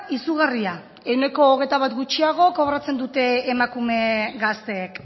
izugarria ehuneko hogeita bat gutxiago kobratzen dute emakume gazteek